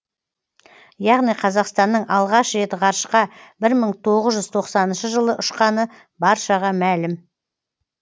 яғни қазақстанның алғаш рет ғарышқа бір мың тоғыз жүз тоқсаныншы жылы ұшқаны баршаға мәлім